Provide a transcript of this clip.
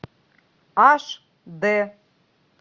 аш д